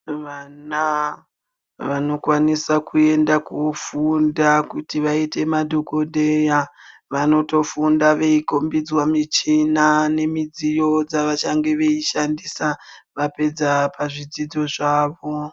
Vana vanokwanisa kuenda kofunda kuti vaite madhokodheya vanotofunda veikombidzwa midziyo /michina dzavachange veishandisa vapedza pazvidzidzo zvavo.